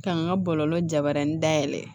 K'an ka bɔlɔlɔ jabarani dayɛlɛ